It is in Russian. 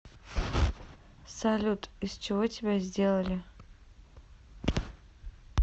салют из чего тебя сделали